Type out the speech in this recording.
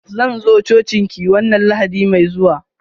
Zan zo cocin ki wanna lahadi mai zuwa.